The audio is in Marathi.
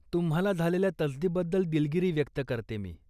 तुम्हाला झालेल्या तसदीबद्दल दिलगिरी व्यक्त करते मी.